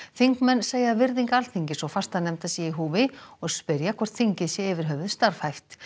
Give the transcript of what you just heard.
þingmenn segja að virðing Alþingis og fastanefnda sé í húfi og spyrja hvort þingið sé yfir höfuð starfhæft